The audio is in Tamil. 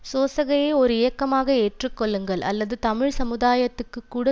சோசகயை ஒரு இயக்கமாக ஏற்றுக்கொள்ளுங்கள் அல்லது தமிழ் சமுதாயத்துக்குக் கூட